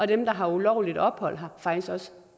dem der har ulovligt ophold her faktisk også